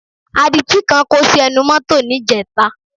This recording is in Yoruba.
Adití kan kó sí ẹnu mọ́tọ̀ níjẹta